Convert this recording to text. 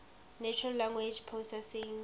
natural language processing